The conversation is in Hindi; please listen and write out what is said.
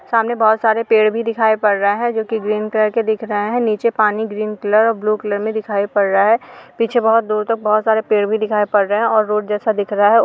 सामने बहोत सारे पेड़ भी दिखाई पड़ रहे हैं जो की ग्रीन कलर के दिखाई पड़ रहे हैं। निचे पानी ग्रीन का और ब्लू कलर में दिखाई पड़ रहा है। पीछे बहुत दूर तक बहुत सारे पेड़ भी दिखाई पड़ रहे हैं। और रोड जैसा दिख रहा है।